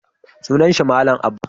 Sunan shi malam Abba